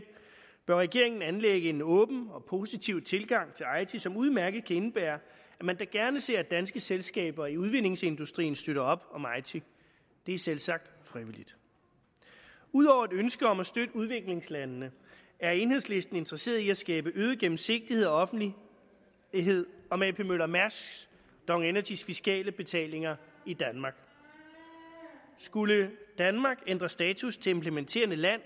bør regeringen anlægge en åben og positiv tilgang til eiti som udmærket kan indebære at man da gerne ser at danske selskaber i udvindingsindustrien støtter op om eiti det er selvsagt frivilligt ud over et ønske om at støtte udviklingslandene er enhedslisten interesseret i at skabe øget gennemsigtighed og offentlighed om ap møller mærsks og dong energys fiskale betalinger i danmark skulle danmark ændre status til implementerende land